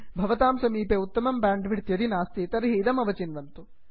भवतां समीपे उत्तमं ब्यांड् विड्थ् यदि नास्ति तर्हि इदम् अवचिन्वन्तु